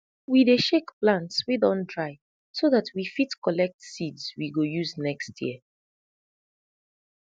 we dey shake plants wey don dry so dat we fit collect seeds we go use next year